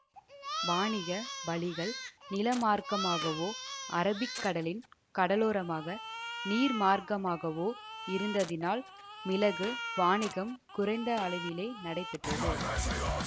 வாணிக வழிகள் நிலமார்க்கமாகவோ அரபிக்கடலின் கடலோரமாக நீர்மார்க்கமாகவோ இருந்ததினால் மிளகு வாணிகம் குறைந்த அளவிலே நடைபெற்றது